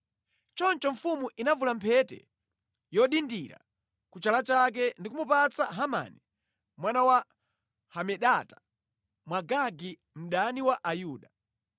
Choncho mfumu inavula mphete yodindira ku chala chake ndi kumupatsa Hamani mwana wa Hamedata Mwagagi, mdani wa Ayuda.